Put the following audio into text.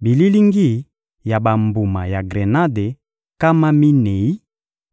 bililingi ya bambuma ya grenade nkama minei